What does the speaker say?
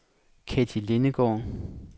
Ketty Lindegaard